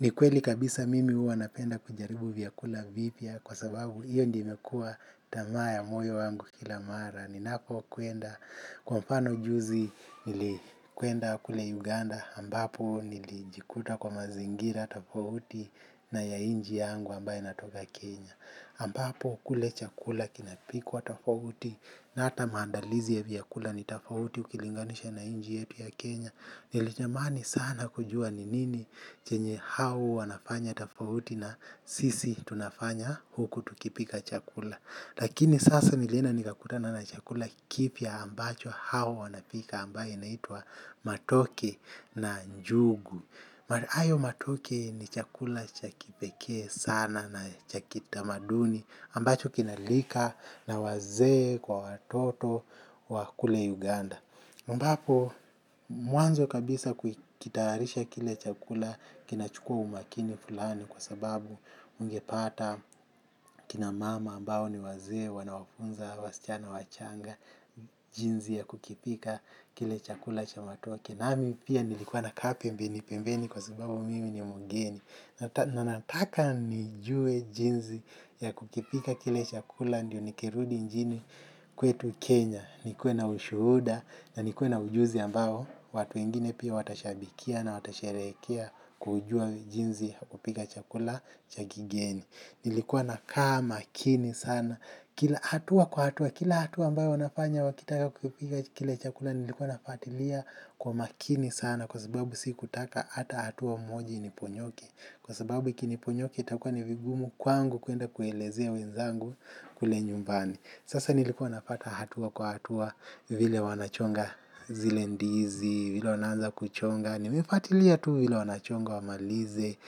Ni kweli kabisa mimi huwa napenda kujaribu vyakula vipya kwa sababu hiyo ndio imekuwa tamaa ya moyo wangu kila mara. Ninapo kwenda, kwa mfano juzi nilikwenda kule Uganda ambapo nilijikuta kwa mazingira tafauti na ya inchi yangu ambaye natoka Kenya Ambapo kule chakula kinapikwa tafauti na ata maandalizi ya vyakula ni tafauti ukilinganisha na inchi yetu ya Kenya. Nilitamani sana kujuwa ni nini chenye hao wanafanya tafauti na sisi tunafanya huku tukipika chakula. Lakini sasa nilienda nikakutana na chakula kipya ambacho hao wanapika ambaye inaitwa matoke na njugu. Hayo matoke ni chakula cha kipekee sana na cha kitamaduni ambacho kinalika na wazee kwa watoto wakule Uganda. Ambapo mwanzo kabisa kukitayarisha kile chakula kina chukuwa umakini fulani kwa sababu ungepata kina mama ambao ni wazee wana wafunza, wasichana, wachanga, jinzi ya kukipika kile chakula cha matoke. Nami pia nilikuwa nakaa pembeni, pembeni kwa sababu mimi ni mugeni. Nanataka nijue jinzi ya kukipika kile chakula ndiyo nikirudi inchini kwetu Kenya. Nikuwe na ushuhuda na nikuwe na ujuzi ambao watu wengine pia watashabikia na watasherekea kujuwa jinzi ya kupika chakula cha kigeni. Nilikuwa na kaa makini sana. Kila hatua kwa hatua, kila hatua ambayo wanafanya wakitaka kupika, kile chakula nilikuwa nafatiliya kwa makini sana kwa sababu si kutaka hata hatua moji iniponyoke. Kwa sababu kini niponyoka itakuwa ni vigumu kwangu kuenda kuelezea wenzangu kule nyumbani. Sasa nilikuwa nafata hatua kwa hatua vile wanachonga zile ndizi, vile wanaanza kuchonga. Ni mefatilia tu vile wanachonga wa malize,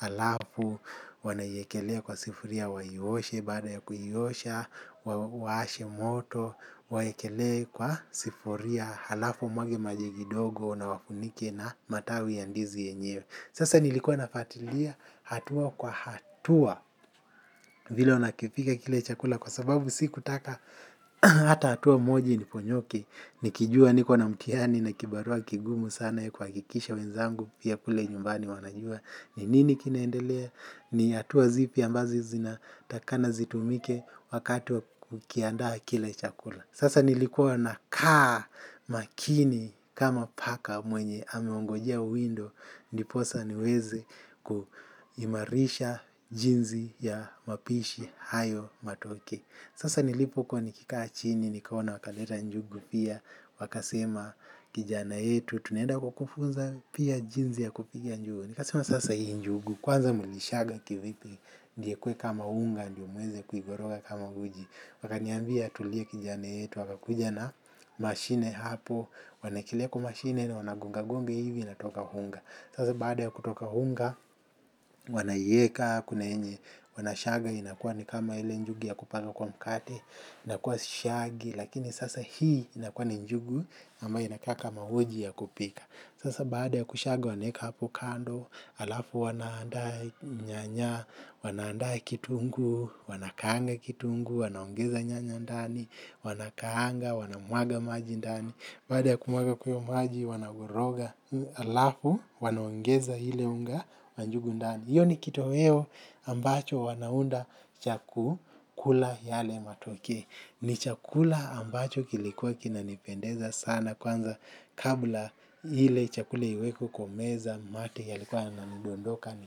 alafu wanaiyekelea kwa sifuria waioshe baada ya kuiyosha, wa ashe moto, waekelee kwa sifuria, alafu wamwage maji kidogo na wafunike na matawi ya ndizi yenyewe. Sasa nilikuwa nafatilia hatua kwa hatuwa vile wanakipika kile chakula kwa sababu siku taka hata hatua moji iniponyoke nikijuwa niko na mtihani na kibarua kigumu sana kwakikisha wenzangu pia kule nyumbani wanajua ni nini kinaendelea ni hatua zipi ambazo zina takana zitumike wakati wa kukiandaa kile chakula. Sasa nilikuwa na kaa makini kama paka mwenye ameongojea uwindo ndiposa niweze kuimarisha jinsi ya mapishi hayo matoke sasa nilipo kuwa nikikaa chini nikaona wakaleta njugu pia wakasema kijana yetu tunaenda kukufunza pia jinsi ya kupika njugu nikasema sasa hii njugu kwanza mulishaga kivipi ndiye ikuwe kama unga ndiyo muweze kuikoroga kama uji wakaniambia tulia kijana yetu wakakuja na mashine hapo wanaekelea kwa mashine wanagonga gonga hivi inatoka unga sasa baada ya kutoka unga wanaiyeka kuna yenye wanashaga inakuwa ni kama ile njuga ya kupaka kwa mkate inakuwa sishagi lakini sasa hii inakuwa ni njugu ama ina kaa kama uji ya kupika sasa baada ya kushaga wanaeka hapo kando alafu wanandaa nyanya wanandaa kitunguu wanakaanga kitunguu, wanaongeza nyanya ndani wanakaanga, wanamwaga maji ndani baada ya kumwaga kwa hiyo maji, wanakoroga alafu, wanaongeza ile unga, wa njugu ndani hiyo ni kitoweo ambacho wanaunda chaku kula yale matoke ni chakula ambacho kilikuwa kina nipendeza sana kwanza kabla ile chakule iwekwe kwa meza mate ya likuwa yana nidondoka ni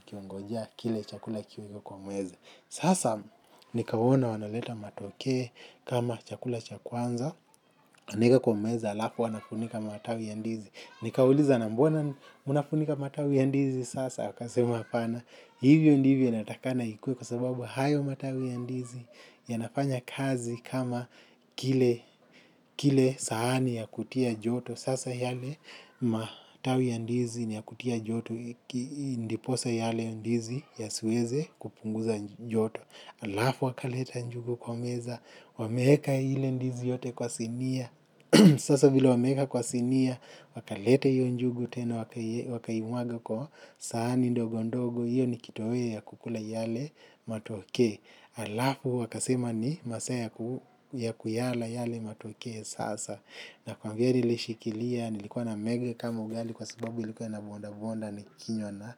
kiongojea kile chakula kiwekwe kwa meza. Sasa nikawona wanaleta matoke kama chakula cha kwanza anaeka kwa meza alafu wanafunika matawi ya ndizi. Nikauliza na mbona mnafunika matawi ya ndizi sasa wakasema hapana hivyo ndivyo inatakikana ikuwe kwa sababu hayo matawi ya ndizi yanafanya kazi kama kile, kile sahani ya kutia joto. Sasa yale matawi ya ndizi ni ya kutia joto. Ndiposa yale ndizi ya siweze kupunguza joto alafu wakaleta njugu kwa meza, wameeka ile ndizi yote kwa sinia. Sasa bila wameeka kwa sinia, wakaleta hiyo njugu tena wakaimwaga kwa sahani ndogo ndogo, hiyo ni kitoweo ya kukula yale matoke. Alafu wakasema ni masaa ya kuyala yale matoke sasa nakwambia nilishikilia, nilikuwa namege kama ugali kwa sababu ilikuwa na bonda bonda ni kinywa na.